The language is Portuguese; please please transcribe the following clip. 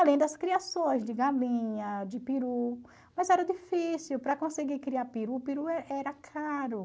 Além das criações de galinha, de peru, mas era difícil para conseguir criar peru, o peru era caro.